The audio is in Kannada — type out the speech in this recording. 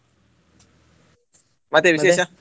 ಮತ್ತೆ ವಿಶೇಷ.